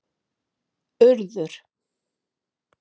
Urður